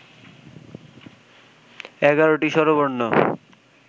এগারোটি স্বরবর্ণ